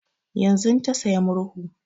Yanzun ta saya murhu